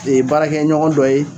Nin ye baara kɛ ɲɔgɔn dɔ ye.